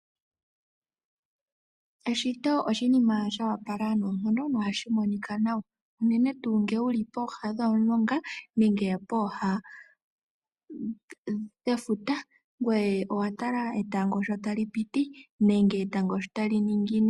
Eshito oshinima shoopala noonkondo nohashi monika nawa. Uunene tuu ngele wuli pooha dhomulonga nenge pooha dhefuta ngoye watala etango sho tali piti. Nenge etango shotali ningine.